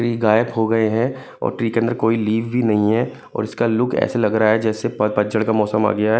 Tree गायब हो गए हैं और ट्री के अंदर कोई लिव भी नहीं है और इसका लुक ऐसे लग रहा है जैसे प पतझड़ का मौसम आ गया है।